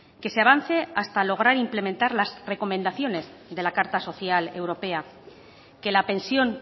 que se avance hasta lograr implementar las recomendaciones de la carta social europea que la pensión